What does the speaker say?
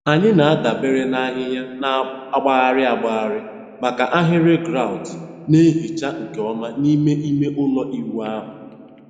Anyị na-adabere na ahịhịa na-agbagharị agbagharị maka ahịrị grout na-ehicha nke ọma n'ime ime ụlọ ịwụ ahụ.